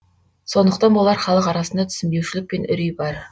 сондықтан болар халық арасында түсінбеушілік пен үрей бар